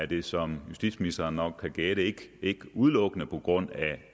det som justitsministeren nok kan gætte ikke udelukkende på grund